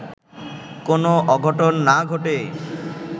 কোন অঘটন না ঘটে”